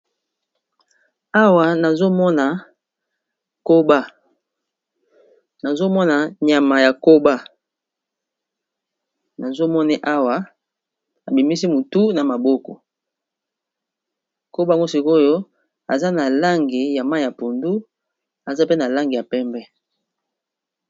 Awa nazomona nyama ya koba nazomone awa abimisi mutu na maboko kobango sikoyo aza na langi ya ma ya pundu aza pe na langi ya pembe